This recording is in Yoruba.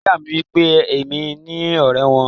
Ìyá mi wípé èmi ni ọrẹ wọn.